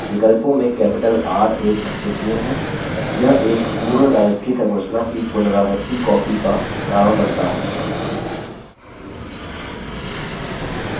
विकल्पों में capital r एक महत्वपूर्ण है यह एक पूर्ण directory संरचना की पुनरावर्ती कॉपी का कारण बनता है